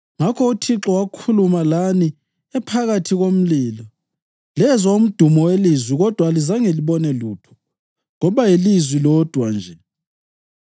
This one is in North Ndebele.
Ngakho uThixo wakhuluma lani ephakathi komlilo. Lezwa umdumo welizwi kodwa alizange libone lutho; kwaba yilizwi lodwa nje.